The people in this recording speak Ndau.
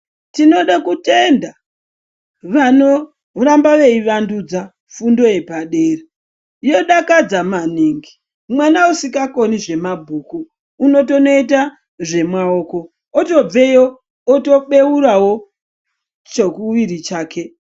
Tinoda kutenda vanorambe veiwandudza fundo yepadera yeidakadza maningi mwana esingagoni zvemabhuku unotoita zvemuoko otobvewo otobeurawo chokuwiri chake .